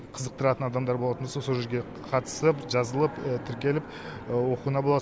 қызықтыратын адамдар болатын болса сол жерге қатыстырып жазылып тіркеліп оқуына болады